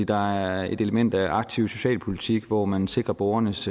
der er et element af aktiv socialpolitik hvor man sikrer borgernes